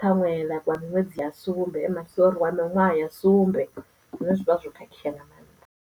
ṱhaṅwe wa miṅwedzi ya sumbe sori wa miṅwaha ya sumbe zwine zwivha zwo khakhea nga mannḓa.